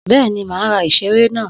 Bẹ́ẹ̀ni, màá ra ìṣeré náà.